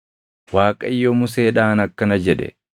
Waaqayyo Museedhaan akkana jedhe;